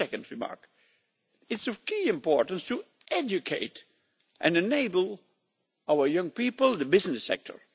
Secondly, it is of key importance to educate and enable our young people in the business sector.